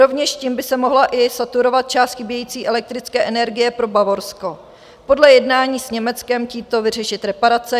Rovněž tím by se mohla i saturovat část chybějící elektrické energie pro Bavorsko, podle jednání s Německem tímto vyřešit reparace.